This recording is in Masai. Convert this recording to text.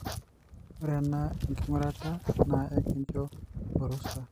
ore ena ngurata na ekincho orusa.